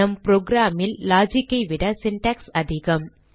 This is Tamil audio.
நம் program ல் logic ஐ விட சின்டாக்ஸ் அதிகம்